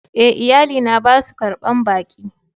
E,iyali na ba su ƙarban ɓaki.